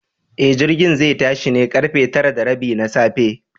E, jirgin zai tashi ne da ƙarfe tara da rabi na safe.